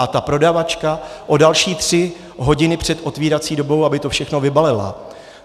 A ta prodavačka o další tři hodiny před otevírací dobou, aby to všechno vybalila.